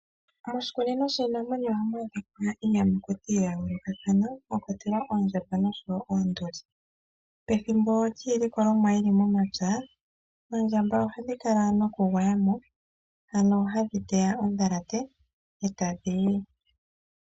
Moshikunino shiinamwenyo ohamu adhika iiyamakuti ya yoolokathana, mwa kwatelwa oondjamba, noshowo oonduli. Pethimbo lyiilikolomwa yili momapya, oondjamba ohadhi kala mo nokugwaya mo, hano hadhi teya ondhalate, etadhi yi.